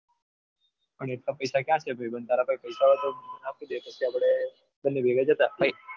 પણ એટલા પૈસા ક્યાં છે ભાઈબંધ એટલા પૈસા હોય તો આપણે બંને ભેગા જતા